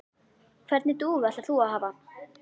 Hvernig dúfu ætlar þú að hafa?